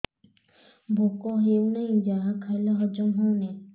ଭୋକ ହେଉନାହିଁ ଯାହା ଖାଇଲେ ହଜମ ହଉନି